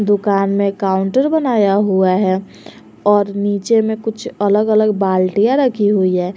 दुकान में काउंटर बनाया हुआ है और नीचे में कुछ अलग अलग बाल्टियाँ रखी हुई हैं।